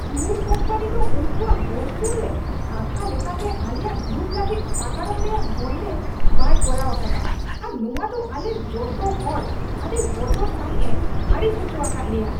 Tour company ᱫᱚ ᱩᱱᱠᱩᱭᱟᱜ ᱵᱳᱨᱥᱩᱨ ᱨᱮ ᱠᱟᱛᱷᱟ ᱞᱮᱠᱟᱛᱮ ᱟᱞᱮᱭᱟᱜ ᱜᱨᱩᱯ ᱞᱟᱹᱜᱤᱫ ᱥᱟᱜᱟᱲᱚᱢ ᱨᱮᱭᱟᱜ ᱵᱚᱱᱫᱮᱡ ᱵᱟᱭ ᱠᱚᱨᱟᱣ ᱟᱠᱟᱫᱟ ᱟᱨ ᱱᱚᱶᱟ ᱫᱚ ᱟᱞᱮ ᱡᱚᱛᱚ ᱦᱚᱲ ᱟᱹᱰᱤ ᱵᱚᱛᱚᱨ ᱥᱟᱹᱦᱤᱡ ᱮ ᱟᱹᱲᱤᱥ ᱦᱚᱪᱚ ᱟᱠᱟᱫ ᱞᱮᱭᱟ ᱾